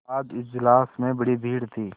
आज इजलास में बड़ी भीड़ थी